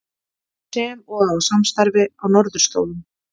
Sem og á samstarfi á Norðurslóðum